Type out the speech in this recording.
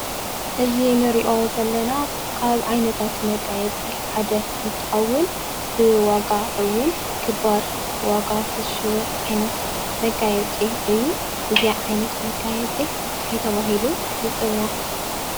እዚ እንሪኦ ዘለና ካብ ዓይነታት መጋየፂ ሓደ እንትከውን ብዋጋ እውን ክባር ዋጋ ዝሽየጥ ዓይነት መጋየፂ እዩ። እዚ ዓይነት መጋየፂ እንታይ ተባሂሉ ይፅዋዕ ?